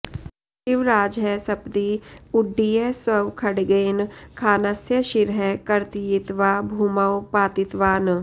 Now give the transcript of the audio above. शिवराजः सपदि उड्डीय स्वखड्गेन खानस्य शिरः कर्तयित्वा भूमौ पातितवान्